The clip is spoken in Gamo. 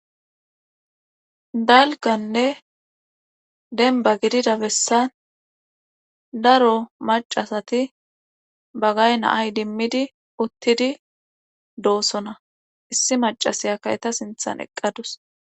Dalgganne dembba gidida bessan daro maccasati bagay na7a idimmidi uttidi doosona issi maccasiyakka eta sinthan eqqadus.